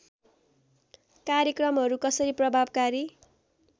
कार्यक्रमहरू कसरी प्रभावकारी